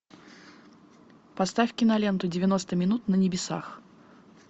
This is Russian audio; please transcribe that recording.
поставь киноленту девяносто минут на небесах